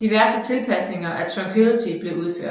Diverse tilpasninger af Tranquility blev udført